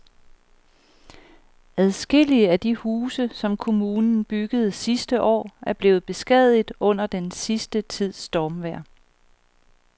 Adskillige af de huse, som kommunen byggede sidste år, er blevet beskadiget under den sidste tids stormvejr.